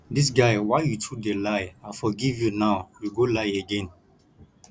dis guy why you too dey lie i forgive you nowyou go lie again